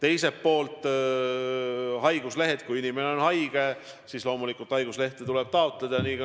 Mis puutub haiguslehte, siis kui inimene on haige, siis loomulikult tuleb tal haiguslehte taotleda.